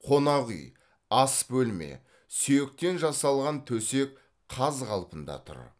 қонақүй ас бөлме сүйектен жасалған төсек қаз қалпында тұр